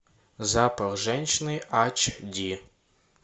запах женщины ач ди